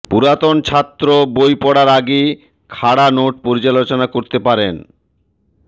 পুরাতন ছাত্র বই পড়ার আগে খাড়া নোট পর্যালোচনা করতে পারেন